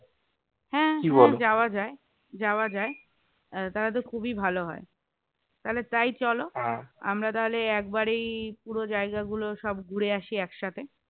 হ্যাঁ হ্যাঁ যাওয়া যায়, যাওয়া যায় তাহলে তো খুবই ভালো হয় তাহলে তাই চল আমরা তাহলে একবারেই পুরো জায়গাগুলো সব ঘুরে আসি একসাথে